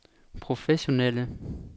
professionelle